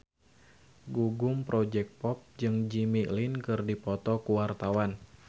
Gugum Project Pop jeung Jimmy Lin keur dipoto ku wartawan